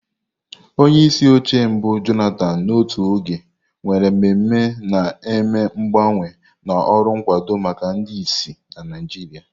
Onyeisi oche mbu Jonathan n'otu oge, nwere mmemme na-eme mgbanwe na ọrụ nkwado maka ndị ìsì na Naijiria.